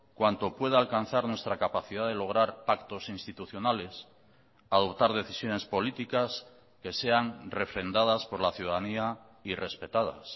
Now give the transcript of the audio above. cuanto pueda alcanzar nuestra capacidad de lograr pactos institucionales adoptar decisiones políticas que sean refrendadas por la ciudadanía y respetadas